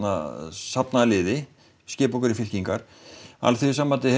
safna liði skipa okkur í fylkingar Alþýðusambandið